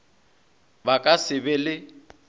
ba ka se be le